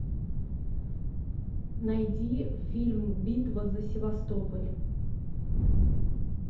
найди фильм битва за севастополь